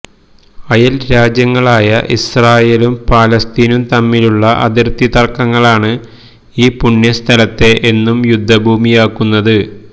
അയല് രാജ്യങ്ങളായ ഇസ്രായലും പാലസ്തീനും തമ്മിലുള്ള അതിര്ത്തി തര്ക്കങ്ങളാണ് ഈ പുണ്യ സ്ഥലത്തെ എന്നും യുദ്ധ ഭൂമിയാക്കുന്നത്